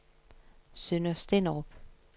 Sønder Stenderup